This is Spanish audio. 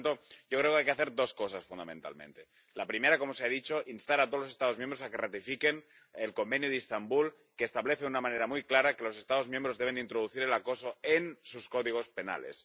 Por lo tanto, yo creo que hay que hacer dos cosas fundamentalmente. La primera, como se ha dicho, instar a todos los Estados miembros a que ratifiquen el Convenio de Estambul, que establece de una manera muy clara que los Estados miembros deben introducir el acoso en sus códigos penales.